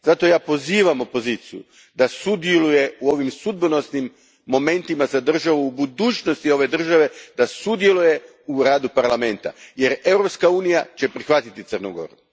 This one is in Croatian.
Zato ja pozivam opoziciju da sudjeluje u ovim sudbonosnim momentima za budućnost ove države, da sudjeluje u radu Parlamenta jer Europska unija će prihvatiti Crnu Goru.